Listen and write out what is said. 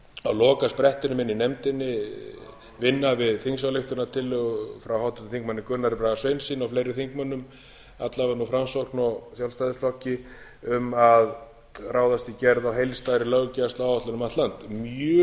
lokasprettinum inni í nefndinni vinna við þingsályktunartillögu frá háttvirtum þingmönnum gunnari braga sveinssyni og fleiri þingmönnum alla vega úr framsókn og sjálfstæðisflokki um að ráðast í gerð á heildstæðri löggæsluáætlun um allt land